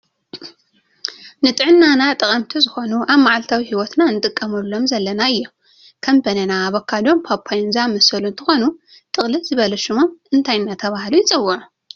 ንፅዕናና ጠቀምቲ ዝኮኑ ኣብ መዓልታዊ ሂወትና ክንጥቀመሎም ዘለና እዮም ከም በናና ኣበካዶን ፓፓዮን ዝኣመሰሉ እንትኮኑ ጥቅልል ዝበለ ሽሞም እንታይ እናተባህሉ ይፅውዑ?